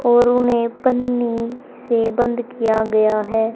और उन्हें पन्नी से बंद किया गया है।